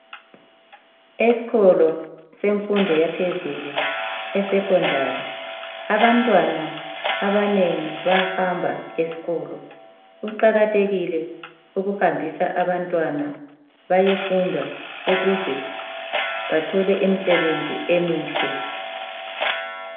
Eskolo semfundo yaphezulu, esekhondari, abantwana abanengi bayahamba eskolo. Kuqakathekile ukuhambisa abantwana, bayefunda , ukuze bathole imsebenzi emihle.